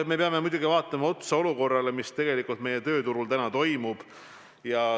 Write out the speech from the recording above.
Me peame muidugi vaatama otsa praegusele olukorrale, sellele, mis tegelikult meie tööturul täna toimub.